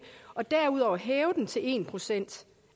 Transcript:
og derudover hæve den til en procent